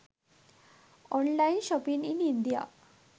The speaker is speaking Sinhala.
online shopping in india